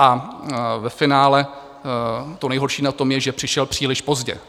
A ve finále to nejhorší na tom je, že přišel příliš pozdě.